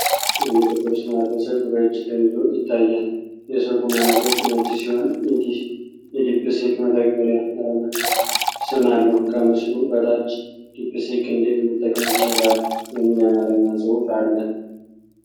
አንድ ጥቁር ስማርት ስልክ በእጅ ተይዞ ይታያል፤ የስልኩ ማያ ገጽ ነጭ ሲሆን የ"ዲፕሲክ" መተግበሪያ አርማና ስም አለው። ከምስሉ በታች 'ዲፕሲክ' እንዴት መጠቀም ይቻላል?" የሚል የአማርኛ ጽሑፍ አለ።